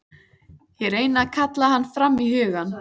Ég reyni að kalla hann fram í hugann.